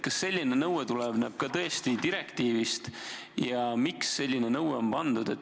Kas selline nõue tuleneb ka direktiivist ja miks selline nõue on kirja pandud?